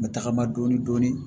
N bɛ tagama dɔɔnin dɔɔnin